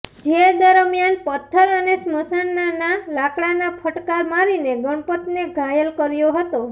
જે દરમિયન પથ્થર અને સ્મશનાના લાકડાના ફટકાર મારીને ગણપતને ઘાયલ કર્યો હતો